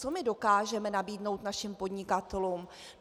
Co my dokážeme nabídnout našim podnikatelům?